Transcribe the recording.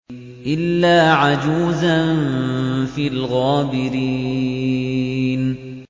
إِلَّا عَجُوزًا فِي الْغَابِرِينَ